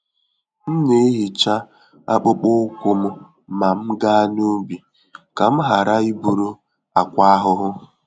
M na-ehicha akpụkpọ ụkwụ m ma m gaa n'ubi, ka m ghara iburu àkwá ahụhụ.